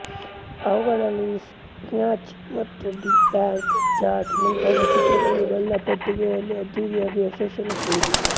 ಅವುಗಳಲ್ಲಿ ಸ್ನಾಚ್ ಮತ್ತು The Bank Job ಮುಂತಾದ ಚಿತ್ರಗಳು ಗಲ್ಲಾ ಪೆಟ್ಟಿಗೆಯಲ್ಲಿ ಅದ್ದೂರಿಯಾಗಿ ಯಶಷನ್ನು ಕಂಡಿದೆ